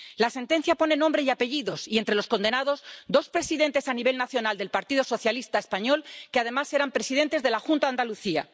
La sentencia pone nombre y apellidos y, entre los condenados, hay dos presidentes a nivel nacional del Partido Socialista español, que, además, eran presidentes de la Junta de Andalucía.